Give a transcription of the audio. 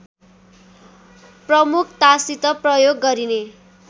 प्रमुखतासित प्रयोग गरिने